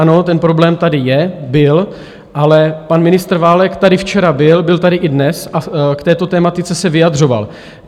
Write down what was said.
Ano, ten problém tady je, byl, ale pan ministr Válek tady včera byl, byl tady i dnes a k této tematice se vyjadřoval.